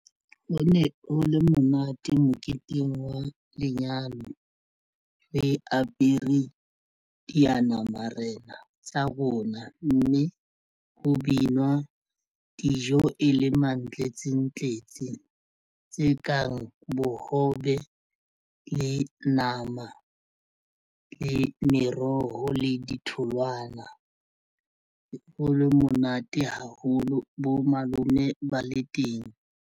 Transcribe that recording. Ho ne ho le monate moketeng wa lenyalo re apere diyanamarena tsa rona mme ho binwa dijo e le mantlentsentlentse tse kang bohobe, le nama le meroho le ditholwana. Ho le monate haholo bo malome ba le teng.